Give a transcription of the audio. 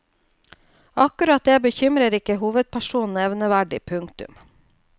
Akkurat det bekymrer ikke hovedpersonen nevneverdig. punktum